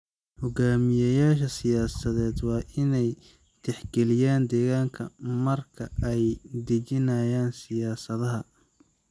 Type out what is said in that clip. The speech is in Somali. Hoggaamiyeyaasha siyaasadeed waa inay tixgeliyaan deegaanka marka ay dejinayaan siyaasadaha.